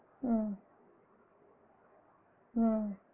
ஆஹ் ஆஹ்